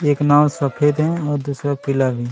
एक नाव सफेद है और दूसरा पीला भी--